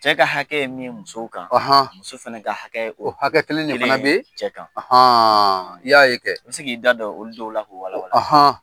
Cɛ ka hakɛ min musow kan muso fana ka hakɛ ye o hakɛ kelen de fana be cɛ kan i y'a ye kɛ, i bi se k'i da don olu dɔw la, k'o wala wala